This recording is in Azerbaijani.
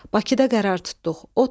Bakıda qərar tutduq.